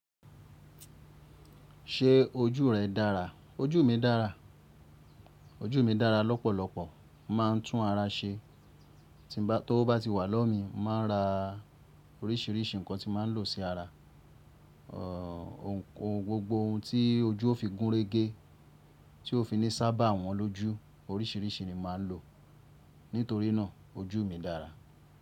Ṣé ojú rẹ dára? Ojú mi dára, ojú mi dára lọ́pọ̀lọpọ̀. Mo máà ń tún ara ṣe tí ọwọ bá ti wà lọ́mì, mo máa ń ra oríṣìíríṣìí nǹkan tí màá ń lò sí ara. Gbogbo ohun tí ojú fi gúnrégé tí o fi ní si ábàwọ́n lójú oríṣìíríṣìí ni màá ń lò nítorí náà ojú mi dára.